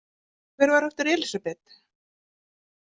Og hver var aftur Elísabet?